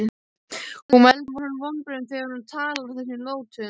Hún veldur honum vonbrigðum þegar hún talar á þessum nótum.